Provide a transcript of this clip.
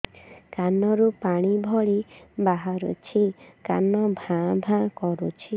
କାନ ରୁ ପାଣି ଭଳି ବାହାରୁଛି କାନ ଭାଁ ଭାଁ କରୁଛି